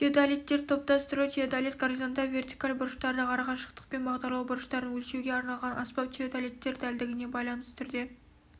теодолиттерді топтастыру теодолит горизонталь вертикаль бұрыштарды арақашықтықпен бағдарлау бұрыштарын өлшеуге арналған аспап теодолиттер дәлдігіне байланысты түрге